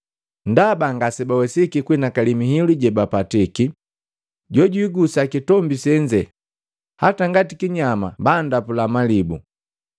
ndaba ngase bawesiki kuhinakali mihilu jejipatiki: “Jojwigusa kitombi senze, hata ngati kinyama banndapula malibu.”